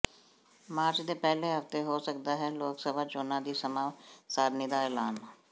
March ਦੇ ਪਹਿਲੇ ਹਫ਼ਤੇ ਹੋ ਸਕਦਾ ਹੈ ਲੋਕਸਭਾ ਚੋਣਾਂ ਦੀ ਸਮਾਂ ਸਾਰਣੀ ਦਾ ਐਲਾਨ